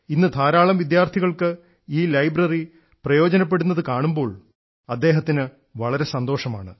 ഇന്ന് ധാരാളം വിദ്യാർത്ഥികൾക്ക് ഈ ലൈബ്രറി പ്രയോജനപ്പെടുന്നത് കാണുമ്പോൾ അദ്ദേഹത്തിന് വളരെ സന്തോഷമാണ്